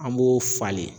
An b'o falen